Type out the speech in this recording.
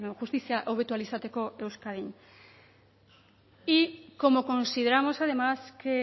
justizia hobetu ahal izateko euskadin y como consideramos además que